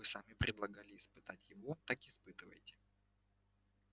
вы сами предлагали испытать его так испытывайте